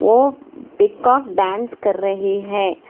ओ peacock dance कर रहे है।